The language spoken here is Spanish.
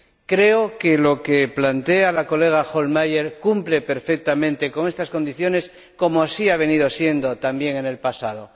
Creo que lo que plantea la colega Hohlmeier cumple perfectamente con estas condiciones, como así ha venido siendo también en el pasado.